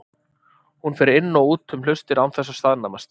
Hún fer inn og út um hlustir án þess að staðnæmast.